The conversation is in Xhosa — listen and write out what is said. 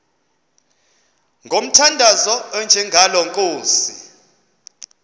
ngomthandazo onjengalo nkosi